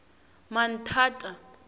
manthata